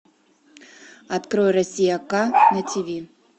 открой россия к на тиви